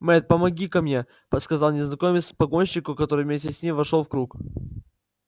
мэтт помоги-ка мне сказал незнакомец погонщику который вместе с ним вошёл в круг